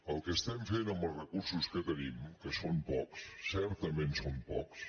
el que estem fent amb els recursos que tenim que són pocs certament són pocs